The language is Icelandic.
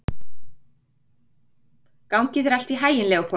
Gangi þér allt í haginn, Leópold.